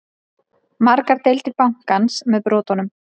Margar deildir bankans með brotunum